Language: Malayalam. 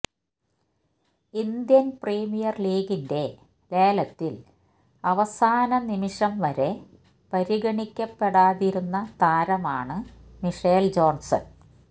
ഇന്ത്യൻ പ്രീമിയർ ലീഗിന്റെ ലേലത്തിൽ അവസാന നിമിഷം വരെ പരിഗണിക്കപ്പെടാതിരുന്ന താരമാണ് മിഷേൽ ജോൺസൻ